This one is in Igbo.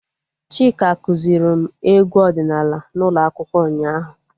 Chika kụziri m egwu ọdịnala n'ụlọ akwụkwọ ụnyaahụ